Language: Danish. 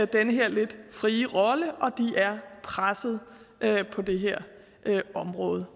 den her lidt frie rolle og de er presset på det her område